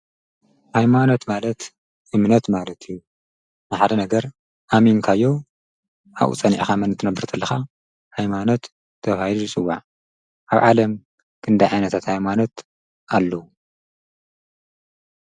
ሃይማኖት ማለት እምነት ማለት እዩ። መሓደ ነገር ኣሚንካዮ ኣኡ ፀኒዕኻ መንት ነብር ተለኻ ኃይማኖት ተውይሩ ስዋዕ ኣብ ዓለም ክንዳ ዓይነታት ኣይማኖት ኣሉዉ።